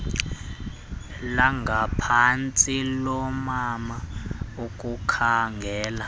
langaphantsi loomama ukukhangela